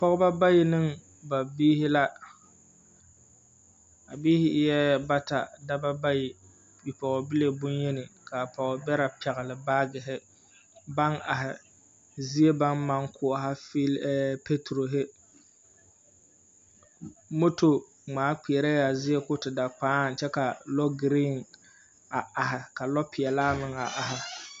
Pɔgeba bayi ne biihi la. A biihi eɛ bata, daba bayi, bipɔɔbile boŋyeni. Ka a pɔgebɛrɛ pɛgele baagehe, baŋ ahe, fe…, zie baŋ maŋ koɔha peturohi, moto ŋmaa kpeɛrɛɛ a zie ko te da kpᾱᾱ, kyɛ ka lɔɔ green a ahe, ka lɔɔpeɛlaa meŋ ahe.